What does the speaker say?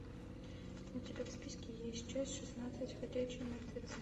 у тебя в списке есть часть шестнадцать ходячие мертвецы